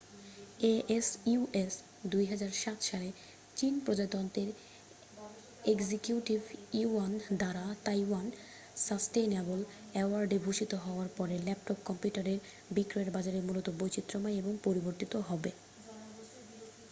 asus 2007 সালে চীন প্রজাতন্ত্রের এক্সিকিউটিভ ইউয়ান দ্বারা তাইওয়ান সাসটেইনেবল অ্যাওয়ার্ডে ভূষিত হওয়ার পরে ল্যাপটপ কম্পিউটারের বিক্রয়ের বাজারে মূলত বৈচিত্রময় এবং পরিবর্তিত হবে